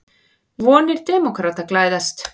Vonir demókrata glæðast